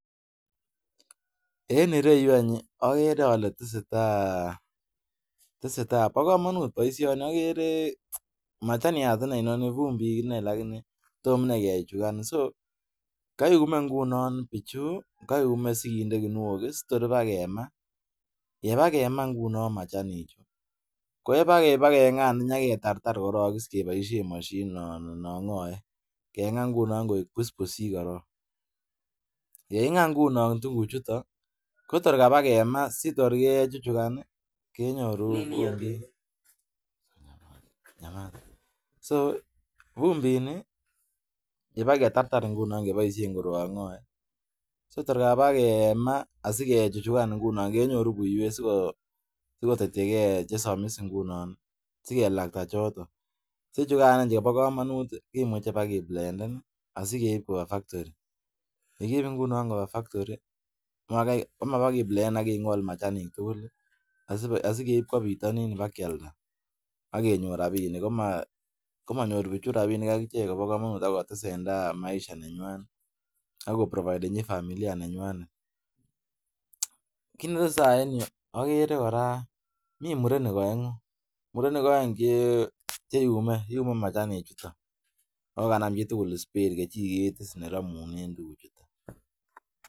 En ireyu agere Kole tesetai ba kamanut baishoni machaniat inei inoni fumbit inei lakini Toma inei kechuchuka. Kayume ingunon bichu sikindet kinuok sitor ba kema yeba kema ngunon machanik chuton Koba kenga aketartar ak kebaishen mashinit anan nangae kenga ngunon koik busbusik yekingaa ngunon tuguk chuton Kotor Kaba kemaa Kotor kochuchukan kenyoru so fumbini yebaketartar kebaishen koroqngae Kotor Kaba kenga asikechuchukan ingunon kenyoru buiwet sikotetei gei chesomis ngunon sikelakta choton chechukan chikobo kamanut kimuche kebakeblenden asikeib Koba factori yegiib ingunon Koba factori komaba kiblenden akingol machanik tugulasikeib Koba bitanin keba keyalda akenyor rabinik komanyor bichu rabinik akichek akoba kamanut akotesentai Maisha nenywanet akoprovidenchi familia nenywanet kit netesetai en Yu agere koraa mi murenik aengu murenik aeng cheyume machanik chwak akokanam chitugul spade kechiket neramunen tuguk chuton